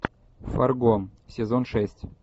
фарго сезон шесть